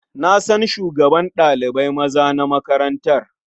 Na san shugaban ɗalibai maza na makarantar.